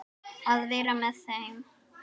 Að vera með þeim.